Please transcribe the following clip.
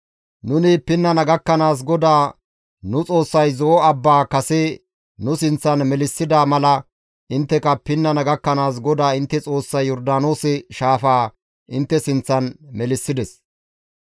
Nuni pinnana gakkanaas GODAA nu Xoossay Zo7o abbaa kase nu sinththan melissida mala intteka pinnana gakkanaas GODAA intte Xoossay Yordaanoose shaafaa intte sinththan melissides.